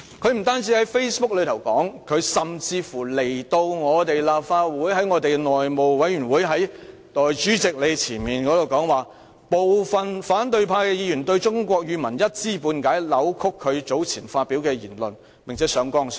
他不單在 Facebook 上作出有關言論，甚至在立法會內務委員會主席面前亦說道，部分反對派議員對中文一知半解，扭曲他早前發表的言論，並且上綱上線。